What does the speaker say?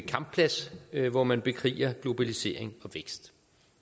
kampplads hvor man bekriger globalisering og vækst